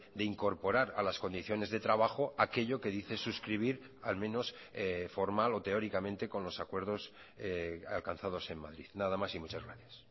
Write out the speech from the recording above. de incorporar a las condiciones de trabajo aquello que dice suscribir al menos formal o teóricamente con los acuerdos alcanzados en madrid nada más y muchas gracias